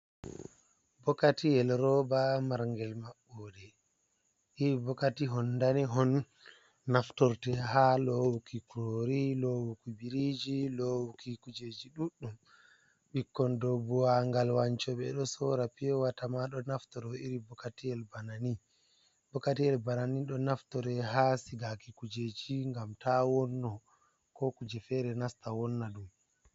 Bokatiyel roba marngel maɓɓoɗe iri bokati nɗanehon on naftorte ha lowuki kurori lowuki biriji lowuki kujeji, ɗuɗɗum ɓikkon ɗow buwagal wancobe ɗo sora pure water naftoro iri bokatiyel banani, do naftore ha sigaki kujeji ngam ta wonno, ko kuje fere nasta wonna ɗum.